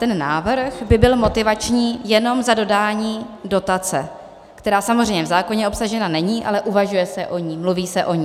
Ten návrh by byl motivační jenom za dodání dotace, která samozřejmě v zákoně obsažena není, ale uvažuje se o ní, mluví se o ní.